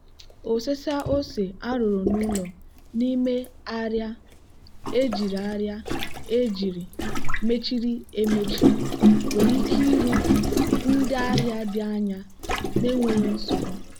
osesa ose arụrụ n'ụlọ n'ime arịa ejiri arịa ejiri mechiri emechi nwere ike iru ndị ahịa dị anya n'enweghị nsogbu.